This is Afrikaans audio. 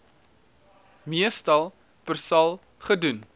meestal persal gedoen